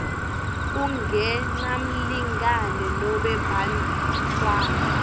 kungenamlingani nobe bantfwana